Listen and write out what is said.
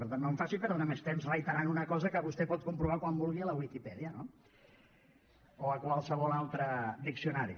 per tant no em faci perdre més temps reiterant una cosa que vostè pot comprovar quan vulgui a la wikipedia o a qualsevol altre diccionari